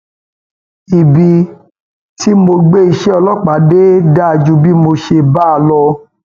ibi tí mo gbé iṣẹ ọlọpàá dé dáa ju bí mo ṣe bá a lọ